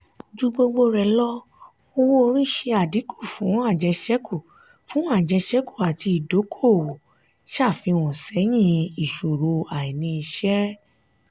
ju gbogbo lọ owó-orí ṣe adínkú fún ajeseku fún ajeseku ati ìdókòwò ṣàfihàn sẹyìn ìṣòro àìní iṣẹ.